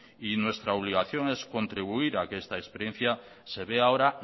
y nuestra obligación es contribuir a que esta experiencia se vea ahora